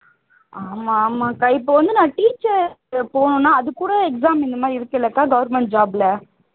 ஆமா ஆமாக்கா இப்போ வந்து நான் teacher போணும்னா அதுகூட exam இந்தமாதிரி இருக்கு இல்லைக்கா government job ல